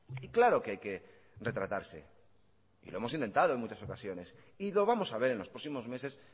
y claro que hay que retratarse y lo hemos intentado en muchas ocasiones y lo vamos a ver en los próximos meses